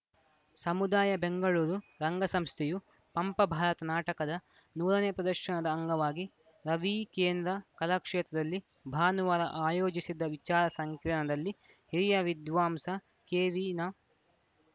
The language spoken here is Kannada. ಸಮುದಾಯ ಬೆಂಗಳೂರು ರಂಗ ಸಂಸ್ಥೆಯು ಪಂಪ ಭಾರತ ನಾಟಕದ ನೂರನೇ ಪ್ರದರ್ಶನದ ಅಂಗವಾಗಿ ರವಿ ಕೇಂದ್ರ ಕಲಾಕ್ಷೇತ್ರದಲ್ಲಿ ಭಾನುವಾರ ಆಯೋಜಿಸಿದ್ದ ವಿಚಾರ ಸಂಕಿರಣದಲ್ಲಿ ಹಿರಿಯ ವಿದ್ವಾಂಸ ಕೆವಿನಾ